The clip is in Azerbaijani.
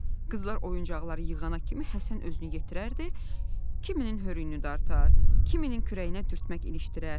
Qızlar oyuncaqları yığana kimi Həsən özünü yetirərdi, kiminin hörüyünü dartar, kiminin kürəyinə dürtmək ilişdirər.